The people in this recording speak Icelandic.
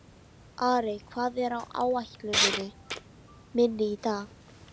Arey, hvað er á áætluninni minni í dag?